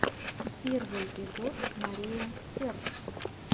первый эпизод мария сэрт